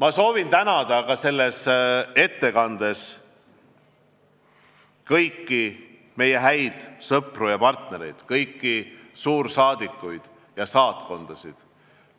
Ma soovin tänada ka kõiki meie häid sõpru ja partnereid, kõiki suursaadikuid ja saatkondasid